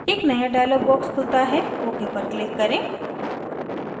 एक नया dialog box खुलता है ok पर click करें